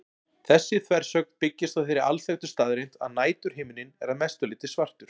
Þessi þversögn byggist á þeirri alþekktu staðreynd að næturhiminninn er að mestu leyti svartur.